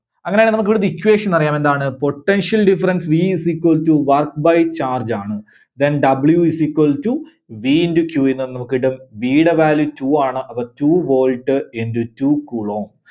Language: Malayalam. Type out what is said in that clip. അങ്ങനെ ആണെങ്കിൽ നമുക്ക് ഇവിടത്തെ equation അറിയാം. എന്താണ്? Potential Difference V is equal to Work by Charge ആണ്. Then W is equal to V into Q ൽ നിന്ന് നമുക്ക്‌ കിട്ടും, V ടെ value two ആണ്. അപ്പോ two volt into two coulomb